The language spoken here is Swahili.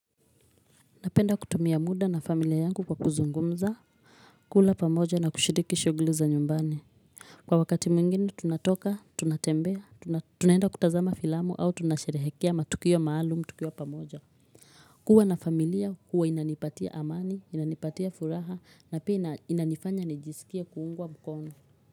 Napenda kutumia muda na familia yangu kwa kuzungumza, kula pamoja na kushiriki shughuli za nyumbani. Kwa wakati mwingine tunatoka, tunatembea, tunaenda kutazama filamu au tunasherehekea matukio maalumu, tukiwa pamoja. Kuwa na familia huwa inanipatia amani, inanipatia furaha na pia inanifanya nijisikie kuungwa mkono.